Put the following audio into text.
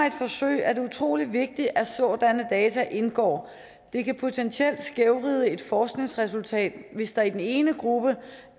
et forsøg er det utrolig vigtigt at sådanne data indgår det kan potentielt skævvride et forskningsresultat hvis der i den ene gruppe